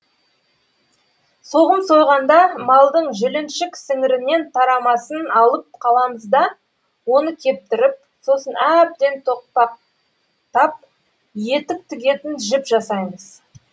соғым сойғанда малдың жіліншік сіңірінен тарамысын алып қаламыз да оны кептіріп сосын әбден тоқпақтап етік тігетін жіп жасаймыз